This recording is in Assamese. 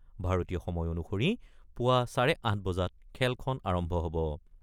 ভাৰতীয় সময় অনুসৰি পুৱা চাৰে আঠ বজাত খেলখন আৰম্ভ হ'ব।